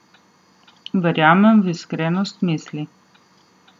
Verjamem v iskrenost misli.